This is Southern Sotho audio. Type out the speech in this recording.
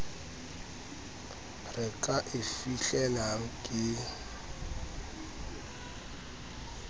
re ka e fihlelang ke